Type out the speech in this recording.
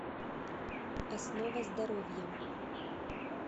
основа здоровья